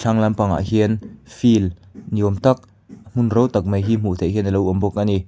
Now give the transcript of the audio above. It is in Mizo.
thlang lampang ah hian field ni awm tak hmun to tak mai hi hmu thei hian a lo awm bawk a ni.